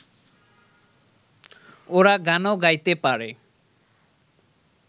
ওরা গানও গাইতে পারে